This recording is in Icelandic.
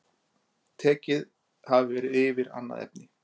Tekið hafi verið yfir annað efni